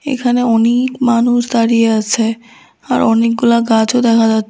এখানে অনেক মানুষ দাঁড়িয়ে আসে আর অনেকগুলা গাছও দেখা যাচ্ছ--